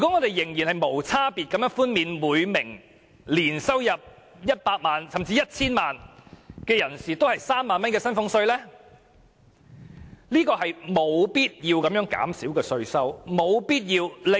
我們無區別地寬減每年入息100萬元至 1,000 萬元的納稅人3萬元的薪俸稅稅收，是完全沒有必要的。